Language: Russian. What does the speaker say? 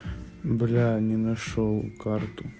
бля не нашёл карту